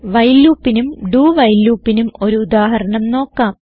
while loopനും doവൈൽ loopനും ഒരു ഉദാഹരണം നോക്കാം